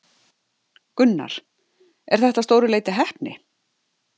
Gunnar: Er þetta að stóru leyti heppni?